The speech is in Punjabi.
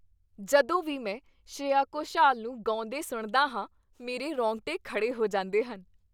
ਜਦੋਂ ਵੀ ਮੈਂ ਸ਼੍ਰੇਆ ਘੋਸ਼ਾਲ ਨੂੰ ਗਾਉਂਦੇ ਸੁਣਦਾ ਹਾਂ, ਮੇਰੇ ਰੋਂਗਟੇ ਖੜ੍ਹੇ ਹੋ ਜਾਂਦੇ ਹਨ।